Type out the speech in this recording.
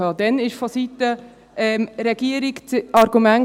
Damals kam seitens der Regierung das Argument: